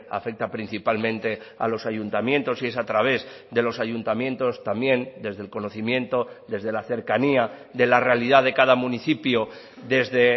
afecta principalmente a los ayuntamientos y es a través de los ayuntamientos también desde el conocimiento desde la cercanía de la realidad de cada municipio desde